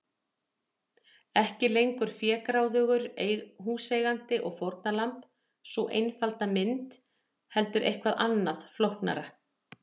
Ekki lengur fégráðugur húseigandi og fórnarlamb, sú einfalda mynd, heldur eitthvað annað, flóknara.